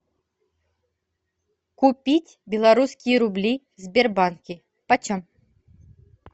купить белорусские рубли в сбербанке почем